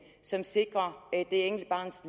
som sikrer det enkelte barns